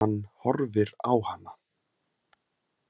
Hann horfir á hana.